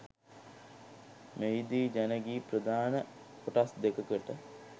මෙහිදී ජන ගී ප්‍රධාන කොටස් දෙකකට